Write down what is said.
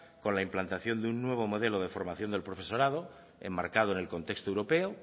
con la implantación de un nuevo modelo de formación del profesorado enmarcado en el contexto europeo